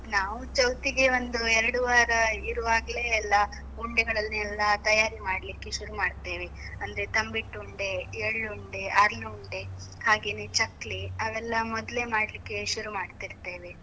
ನಾವು ಚೌತಿಗೆ ಒಂದು ಎರಡ್ ವಾರ ಇರುವಾಗ್ಲೇ ಎಲ್ಲ, ಉಂಡೆಗಳನ್ನೆಲ್ಲ ತಯಾರಿ ಮಾಡ್ಲಿಕ್ಕೆ ಶುರು ಮಾಡ್ತೇವೆ, ಅಂದ್ರೆ ತಂಬಿಟ್ಟುಂಡೆ, ಎಳ್ಳುಂಡೆ, ಅರ್ಲುಂಡೆ ಹಾಗೇನೇ ಚಕ್ಲಿ, ಅವೆಲ್ಲ ಮೊದ್ಲೆ ಮಾಡ್ಲಿಕ್ಕೆ ಶುರು ಮಾಡ್ತಿರ್ತೇವೆ.